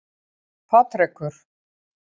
Patrekur